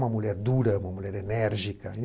Uma mulher dura, uma mulher enérgica.